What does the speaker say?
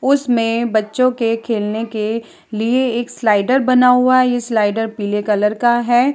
उसमें बच्चों के खेलने के लिए एक स्लाइडर बना हुआ है। यह स्लाइडर पीले कलर का है।